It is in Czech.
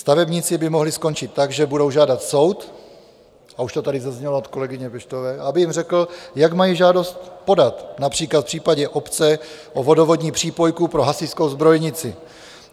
Stavebníci by mohli skončit tak, že budou žádat soud, a už to tady zaznělo od kolegyně Peštové, aby jim řekl, jak mají žádost podat, například v případě obce o vodovodní přípojku pro hasičskou zbrojnici.